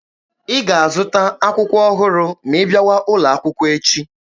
Ị ga-azụta akwụkwọ ọhụrụ ma ị bịawa ụlọ akwụkwọ echi!